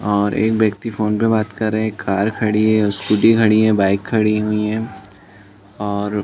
और एक वक्ति फोन पे बात कर रहे है कार खड़ी है स्कूटी खड़ी है बाइक खड़ी हुई है और --